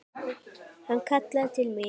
Hann kallaði til mín.